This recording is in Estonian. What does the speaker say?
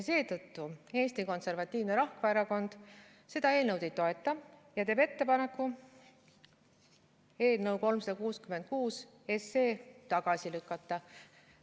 Seetõttu Eesti Konservatiivne Rahvaerakond seda eelnõu ei toeta ja teeb ettepaneku eelnõu 366 tagasi lükata.